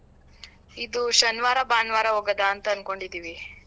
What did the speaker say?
ಇದು ಶನಿವಾರ ಭಾನುವಾರ ಹೋಗೋದಾ ಅಂತ ಅನ್ಕೊಂಡಿದ್ದೀವಿ.